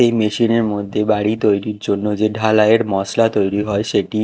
এই মেশিন -এর মধ্যে বাড়ি তৈরির জন্য যে ঢালাইয়ের মশলা তৈরি হয় সেটি--